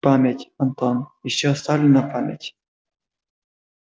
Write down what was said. память антон ещё оставлена память